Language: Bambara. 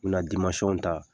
Bina dimansɔn ta